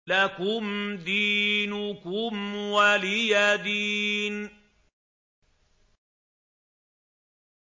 لَكُمْ دِينُكُمْ وَلِيَ دِينِ